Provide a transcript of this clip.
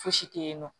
Fosi te yen nɔ